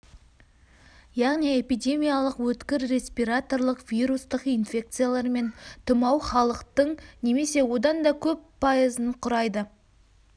яғни эпидемиядағы өткір респираторлық вирустық инфекциялар мен тұмау халықтың немесе одан да көп пайызын құрайды